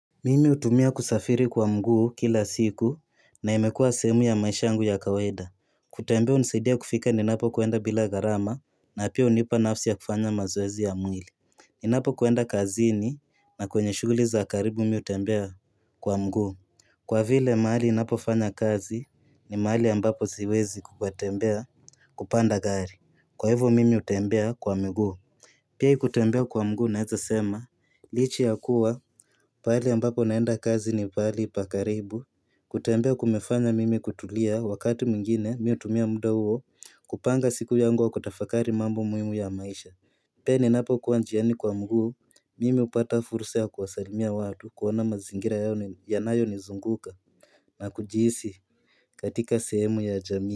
Mimi utumia kusafiri kwa mguu kila siku na imekua sehemu ya maisha yangu ya kawaida kutembea unisaidia kufika ninapokwenda bila gharama na pia unipa nafsi ya kufanya mazoezi ya mwili Ninapokwenda kazini na kwenye shughuli za karibu mi utembea kwa mguu Kwa vile maali napofanya kazi ni maali ambapo siwezi kukwatembea kupanda gari Kwa hivyo mimi utembea kwa miguu Pia hii kutembea kwa mguu unaeza sema Licha ya kuwa pahali ambapo naenda kazi ni pahali pakaribu kutembea kumefanya mimi kutulia wakati mwingine mi utumia muda huo kupanga siku yangu au kutafakari mambo muhimu ya maisha Pia ninapokuwa njiani kwa mguu Mimi upata fursa ya kuwasalimia watu kuona mazingira yao yanayonizunguka na kujihisi katika sehemu ya jamii.